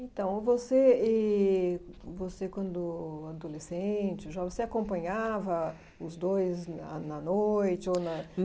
Então, você e você, quando adolescente, jovem, você acompanhava os dois na na noite ou